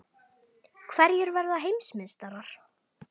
Hverjir verða Heimsmeistarar?